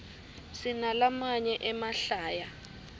sinalamaye emahlaya